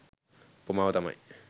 උපමාව තමයි